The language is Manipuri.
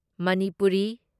ꯃꯅꯤꯄꯨꯔꯤ